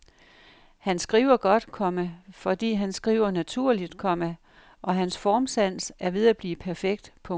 Han skriver godt, komma fordi han skriver naturligt, komma og hans formsans er ved at blive perfekt. punktum